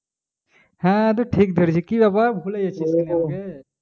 হ্যাঁ তুই ঠিক ধরেছিস কি ব্যাপার ভুলে গেছিলিস আমাকে?